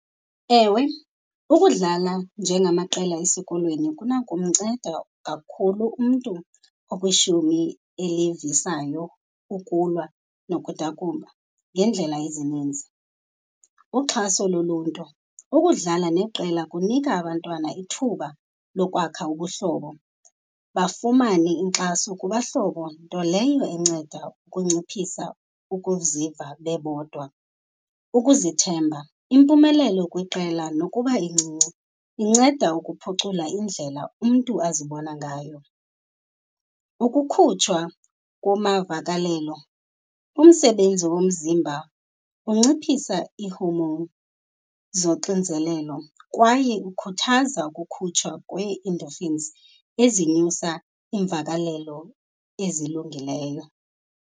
Ewe, ukudlala njengamaqela esikolweni kunakumnceda kakhulu umntu okwishumi elivisayo ukulwa nokudakumba ngeendlela ezininzi. Uxhaso loluntu, ukudlala neqela kunika abantwana ithuba lokwakha ubuhlobo, bafumane inkxaso kubahlobo, nto leyo enceda ukunciphisa ukuziva bebodwa. Ukuzithemba, impumelelo kwiqela nokuba incinci inceda ukuphucula indlela umntu azibona ngayo. Ukukhutshwa kumavakalelo, umsebenzi womzimba unciphisa ii-hormone zoxinzelelo kwaye ukhuthaza ukukhutshwa kwee-endorphins ezinyusa iimvakalelo ezilungileyo.